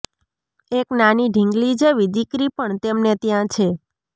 એક નાની ઢીંગલી જેવી દીકરી પણ તેમને ત્યાં છે